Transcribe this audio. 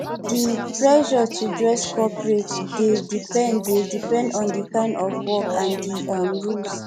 di um pressure to dress coperate dey depend dey depend on di kind of work and di um rules